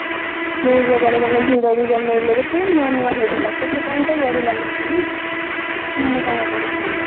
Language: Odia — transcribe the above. ଜାଗାରେ ମାନେ ଭିଡ ବି ଜମେଇଲେ ସେଥି ପାଇଁ ସେଥିପାଇଁ ତ ବଢ଼ିଲା ନା ପୁଣି ନହେଲେ କାଇଁ ବଢି଼ଥାନ୍ତା